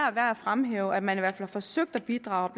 er værd at fremhæve at man i hvert fald har forsøgt at bidrage